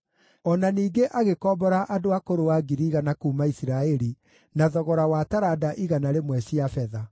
O na ningĩ agĩkombora andũ a kũrũa 100,000 kuuma Isiraeli na thogora wa taranda igana rĩmwe cia betha.